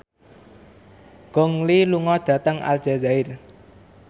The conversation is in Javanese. Gong Li lunga dhateng Aljazair